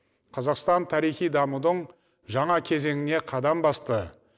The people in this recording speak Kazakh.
қазақстан тарихи дамудың жаңа кезеңіне қадам басты